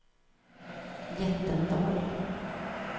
Jättendal